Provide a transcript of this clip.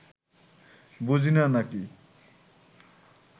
বুঝি না, নাকি